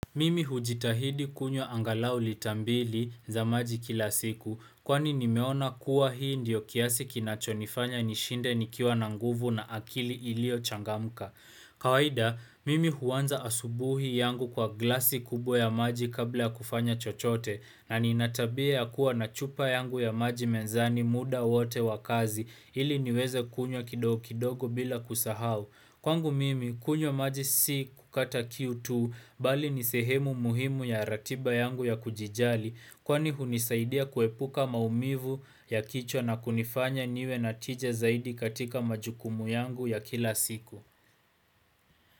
Mimi hujitahidi kunywa angalau lita mbili za maji kila siku kwani nimeona kuwa hii ndiyo kiasi kinacho nifanya nishinde nikiwa na nguvu na akili ilio changamka. Kawaida, mimi huanza asubuhi yangu kwa glasi kubwa ya maji kabla kufanya chochote na nina tabia ya kuwa na chupa yangu ya maji mezani muda wote wakazi ili niweze kunywa kidogo kidogo bila kusahau. Kwangu mimi, kunywa maji si kukata kiu tu, bali ni sehemu muhimu ya ratiba yangu ya kujijali kwani hunisaidia kuepuka maumivu ya kichwa na kunifanya niwe na tija zaidi katika majukumu yangu ya kila siku.